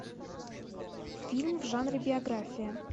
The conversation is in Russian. фильм в жанре биография